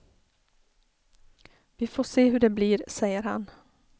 Vi får se hur det blir, säger han.